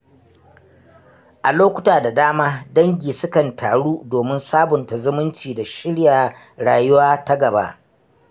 A lokuta da dama, dangi sukan taru domin sabunta zumunci da shirya rayuwa ta gaba.